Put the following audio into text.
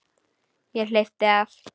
Ég hleypti af.